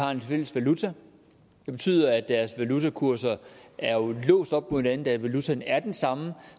har en fælles valuta der betyder at deres valutakurser er låst op på hinanden da valutaen er den samme